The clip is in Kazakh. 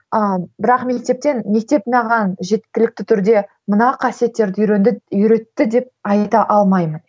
ыыы бірақ мектептен мектеп маған жеткілікті түрде мына қасиеттерді үйренді үйретті деп айта алмаймын